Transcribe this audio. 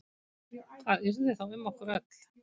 Hvað yrði þá um okkur öll?